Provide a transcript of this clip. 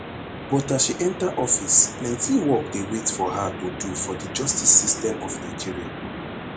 but as she enta office plenti work dey wait for her to do for di justice system of nigeria